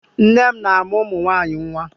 Nne m na-amụ́ ụmụ nwaanyị nwa.